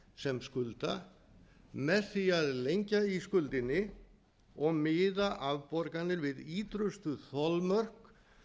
sem skulda með því að lengja í skuldinni og miða afborganir við ýtrustu þolmörk